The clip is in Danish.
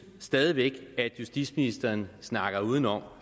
stadig væk at justitsministeren snakker udenom